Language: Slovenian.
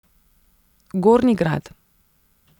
Gornji Grad.